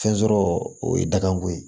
Fɛn sɔrɔ o ye dagako ye